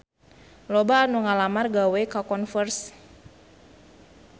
Loba anu ngalamar gawe ka Converse